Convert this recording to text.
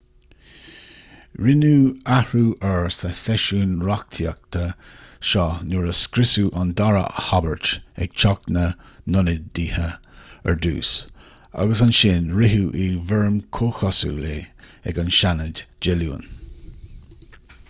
rinneadh athrú air sa seisiún reachtaíochta seo nuair a scriosadh an dara habairt ag teach na nionadaithe ar dtús agus ansin ritheadh i bhfoirm comhchosúil é ag an seanad dé luain